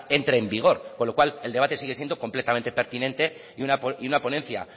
entre en vigor con lo cual el debate sigue siendo completamente pertinente y una ponencia